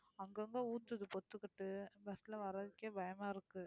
அங்கங்க ஊத்துது பொத்துக்கிட்டு bus ல வர்றதுக்கே பயமா இருக்கு